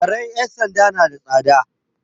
Karen 'yan sanda na da tsada.